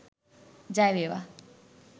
ජය වේවා